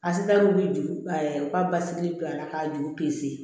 A si ta wuli u ka basigi bi a la ka juru